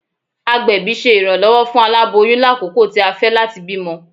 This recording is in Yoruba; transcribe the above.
Agbẹbi ṣe iranlọwọ fun alaboyun lakoko ti a fẹ lati bimọ.